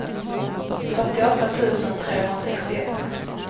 fyrtioåtta tusen trehundrasextioett